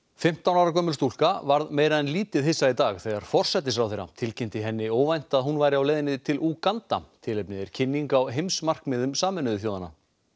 fimmtán ára gömul stúlka varð meira en lítið hissa í dag þegar forsætisráðherra tilkynnti henni óvænt að hún væri á leiðinni til Úganda tilefnið er kynning á heimsmarkmiðum Sameinuðu þjóðanna